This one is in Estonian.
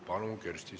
Palun!